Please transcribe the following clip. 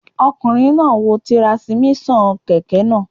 Ọkùnrin náà n wo tirasímíṣàn kẹ̀kẹ́ náà